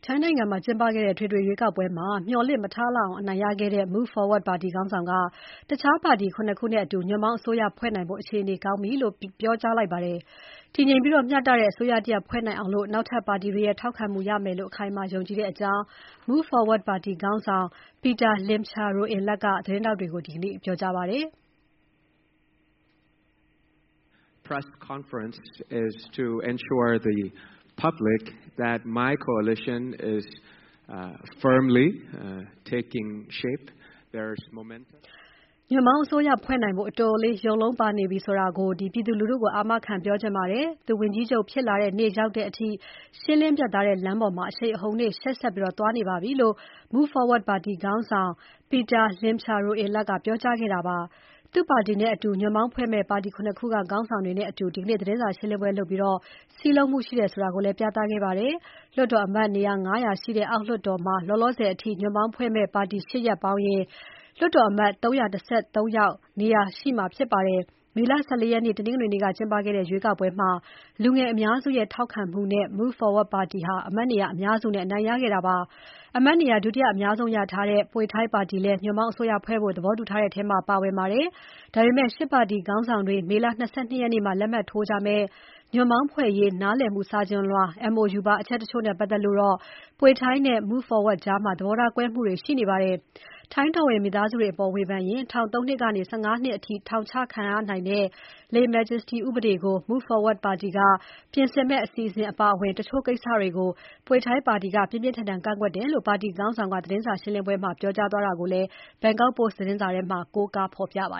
ိုင်းနိုင်ငံ အထွေထွေရွေးကောက်ပွဲမှာ မျှော်လင့်မထားလောက်အောင် အနိုင်ရခဲ့တဲ့ Move Forward ပါတီခေါင်းဆောင်က ညွန့်ပေါင်းအစိုးရဖွဲ့နိုင်ဖို့ အခြေအနေကောင်းနေပြီလို့ ပြောကြားလိုက်ပါတယ်။ တည်ငြိမ်ပြီး မျှတတဲ့ အစိုးရတရပ်ဖွဲ့နိုင်အောင် နောက်ထပ်ပါတီတွေရဲ့ ထောက်ခံမှုရမယ်လို့ အခိုင်အမာယုံကြည်တယ်လို့ Move Forward ပါတီခေါင်းဆောင် Pita Limjaroenrat (ပီတာ လင်မ်ချာရိုအင်လတ်) ကသတင်းထောက်တွေကို ပြောကြားခဲ့ပါတယ်။ "ညွန့်ပေါင်းအစိုးရဖွဲ့နိုင်ဖို့ အတော်လေးရုပ်လုံးပေါ်လာနေပြီဆိုတာ ပြည်သူလူထုကို အာမခံပြောချင်ပါတယ်။ သူဝန်ကြီးချုပ်ဖြစ်လာတဲ့ နေ့ရောက်တဲ့အထိ ရှင်းလင်းပြတ်သားတဲ့ လမ်းပေါ်မှာ အရှိန်အဟုန်နဲ့ ရှေ့ဆက်သွားနေပါပြီ" သူ့ပါတီနဲ့အတူ ညွန့်ပေါင်းဖွဲ့မယ့် ပါတီ ၇ ခုက ခေါင်းဆောင်တွေနဲ့အတူ ဒီနေ့သတင်းစာရှင်းပွဲကို လုပ်ပြီး စည်းလုံးမှုရှိတယ်ဆိုတာကိုလည်း ပြသခဲ့ပါတယ်။ လွှတ်တော်အမတ်နေရာ ၅၀၀ ရှိတဲ့ အောက်လွှတ်တော်မှာ လောလောဆယ်အထိ ညွန့်ပေါင်းဖွဲ့မယ့် ပါတီ ၈ ပါတီပေါင်းရင် လွှတ်တော်အမတ် ၃၁၃ ယောက် နေရာရှိမှာဖြစ်ပါတယ်။ မေလ ၁၄ ရက်နေ့ တနင်္ဂနွေနေ့က ကျင်းပခဲ့တဲ့ ရွေးကောက်ပွဲမှာ လူငယ်အများစုရဲ့ ထောက်ခံမှုနဲ့ Move Forward ပါတီ အမတ်နေရာ အများစုအနိုင်ရခဲ့တာပါ။ အမတ်နေရာ ဒုတိယ အများဆုံးရထားတဲ့ Pheu Thai ပါတီလည်း ညွန့်ပေါင်းအစိုးရဖွဲ့ဖို့ သဘောတူထားတဲ့ထဲမှာ ပါဝင်ပါတယ်။ ဒါပေမဲ့ ၈ ပါတီခေါင်းဆောင်တွေ မေလ ၂၂ ရက်နေ့မှာ လက်မှတ်ထိုးကြမယ့် ညွန့်ပေါင်းဖွဲ့ရေး နားလည်မှုစာချွန်လွှာ MoU ပါ အချက်တချို့နဲ့ပါတ်သက်လို့ Pheu Thai နဲ့ Move Forward ကြား သဘောထားကွဲမှုတွေ ရှိနေပါတယ်။ ထိုင်းတော်ဝင်မိသားစုတွေအပေါ် ဝေဖန်ရင် ထောင် ၃ နှစ်ကနေ ၁၅ နှစ်အထိ ထောင်ချခံရနိုင်တဲ့ lese-majeste ဥပဒေကို Move Forward ပါတီက ပြင်ဆင်မယ့် အစီအစဉ်အပါအဝင် တချို့ကိစ္စတွေကို Pheu Thai ပါတီက ပြင်းပြင်းထန်ထန် ကန့်ကွက်တယ်လို့ ပါတီခေါင်းဆောင်က သတင်းစာရှင်းပွဲမှာ ပြောကြားတာကို BKK Post သတင်းမှာ ကိုးကား ဖော်ပြထားပါ